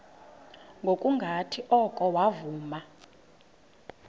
ngokungathi oko wavuma